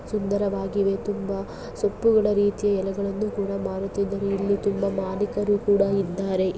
ಸುಂದರವಾಗಿವೆ ತುಂಬಾ ಸೊಪ್ಪುಗಳ ರೀತಿ ಎಲೆಗಳನ್ನುಕೂಡ ಮಾರುತ್ತಿದ್ದಾರೆ ಇಲ್ಲಿ ತುಂಬಾ ಮಾಲೀಕರು ಕೂಡ ಇದ್ದಾರೆ.